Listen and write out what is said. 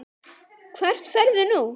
Hvert ferðu nú?